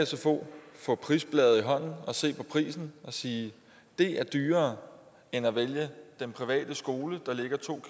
sfo få prisbladet i hånden og se på prisen og sige det er dyrere end at vælge den private skole der ligger to